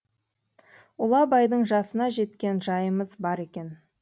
ұлы абайдың жасына жеткен жайымыз бар екен